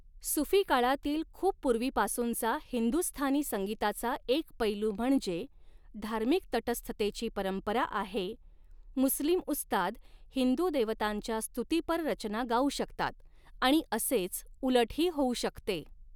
सुफी काळातील खूप पुर्वीपासूनचा हिंदुस्थानी संगीताचा एक पैलू म्हणजे, धार्मिक तटस्थतेची परंपरा आहेः मुस्लिम उस्ताद हिंदू देवतांच्या स्तुतीपर रचना गाऊ शकतात आणि असेच उलटही होऊ शकते.